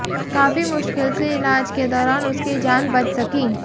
काफी मुश्किल से इलाज के दौरान उसकी जान बच सकी